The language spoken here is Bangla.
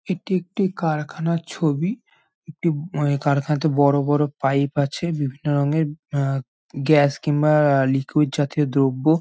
এটি একটি কারখানার ছবি একটু আ কারখানাতে বড়-বড় পাইপ আছে বিভিন্ন রঙের আ গ্যাস কিংবা-আ লিকুইড জাতীয় দ্রব্য।